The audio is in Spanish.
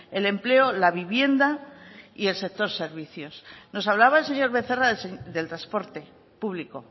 el empleo la vivienda y el sector servicios nos hablaba el señor becerra del transporte público